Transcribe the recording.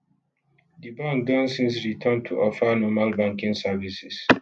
di bank don since return to offer normal banking services